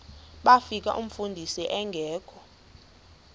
bafika umfundisi engekho